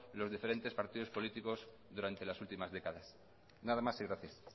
los diferentes partidos políticos durante las últimas décadas nada más y gracias